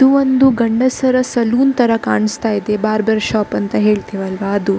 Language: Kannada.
ಇದು ಒಂದು ಗಂಡಸರ ಸಲೂನ್ ತರ ಕಾಣಿಸ್ತಾ ಇದೆ ಬಾರ್ಬರ್ ಶಾಪ್ ಅಂತ ಹೇಳ್ತೇವೆ ಅಲ್ವ ಅದು.